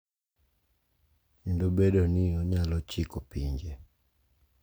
Kendo bedo ni onyalo chiko pinje,